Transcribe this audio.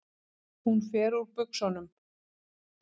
Hún fer úr buxunum.